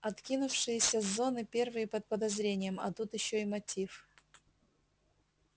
откинувшиеся с зоны первые под подозрением а тут ещё и мотив